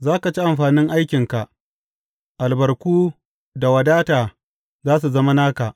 Za ka ci amfanin aikinka; albarku da wadata za su zama naka.